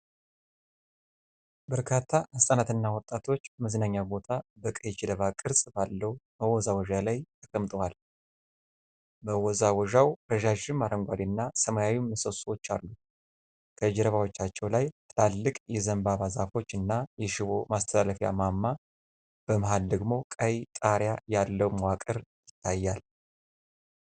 በርካታ ሕጻናትና ወጣቶች በመዝናኛ ቦታ በቀይ ጀልባ ቅርጽ ባለው መወዛወዣ ላይ ተቀምጠዋል። መወዛወዣው ረዣዥም አረንጓዴ እና ሰማያዊ ምሰሶዎች አሉት። ከጀርባዎቻቸው ላይ ትላልቅ የዘንባባ ዛፎች እና የሽቦ ማስተላለፊያ ማማ፤ በመሃል ደግሞ ቀይ ጣሪያ ያለው መዋቅር ይታያል።